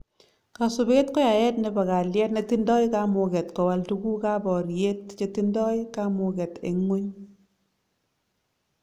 kasupet ko yaet nebo kalyet netindoi kamuket kowal tukuk ab boryet chetindoi kamuket en ngwony